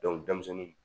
denmisɛnnin